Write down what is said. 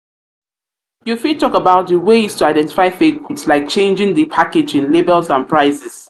fit talk about di ways to identify fake goods like checking di packaging labels and prices.